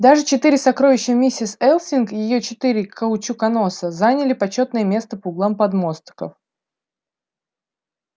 даже четыре сокровища миссис элсинг её четыре каучуконоса заняли почётное место по углам подмостков